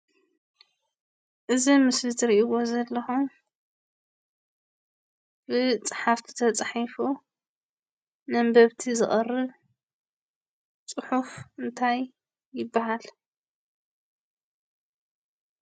እዚ ምስሊ ትሪእዎ ዘለኹም ብፀሓፍቲ ተፀሒፉ ንኣንበብቲ ዝቐርብ ፅሑፍ እንታይ ይባሃል?